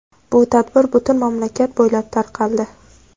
Bu tadbir butun mamlakat bo‘ylab tarqaldi.